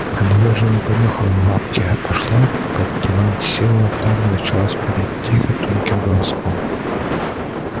она даже не понюхала лапки а пошла под диван села там и начала скулить тихо тонким голоском